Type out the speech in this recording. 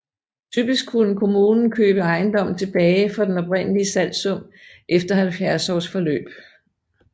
Typisk kunne kommunen købe ejendommen tilbage for den oprindelige salgssum efter 70 års forløb